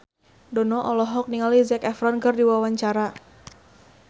Dono olohok ningali Zac Efron keur diwawancara